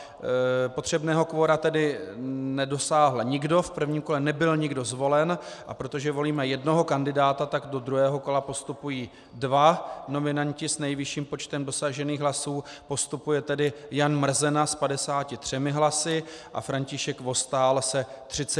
Potřebného kvora tedy nedosáhl nikdo, v prvním kole nebyl nikdo zvolen, a protože volíme jednoho kandidáta, tak do druhého kola postupují dva nominanti s nejvyšším počtem dosažených hlasů, postupuje tedy Jan Mrzena s 53 hlasy a František Vostál s 32 hlasy.